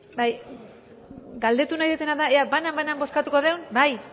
galdetu nahi dudana da ea banan banan bozkatuko dugun bai